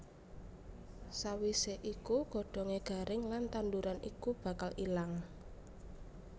Sawisé iku godhongé garing lan tanduran iku bakal ilang